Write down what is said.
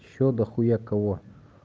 ещё до хуя кого